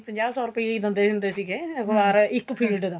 ਪੰਜਾਹ ਸੋ ਰੁਪਈਏ ਈ ਦਿੰਦੇ ਹੁੰਦੇ ਸੀਗੇ ਅਖਬਾਰ ਇੱਕ field ਦਾ